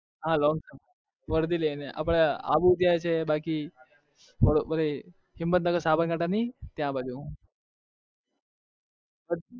હા long સફર વરધી લઈને અથવા આબુ જાઉં છે ત્યાં બાજુ હિમત નગર સાબરકાંઠા નહિ એ બાજુ